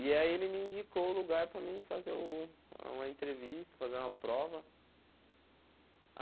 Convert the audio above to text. E aí ele me indicou o lugar para mim fazer o uma entrevista, fazer uma prova.